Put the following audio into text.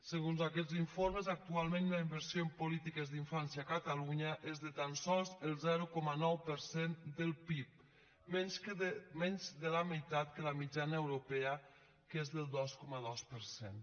segons aquests informes actualment la inversió en polítiques d’infància a catalunya és de tan sols el zero coma nou per cent del pib menys de la meitat que la mitjana europea que és del dos coma dos per cent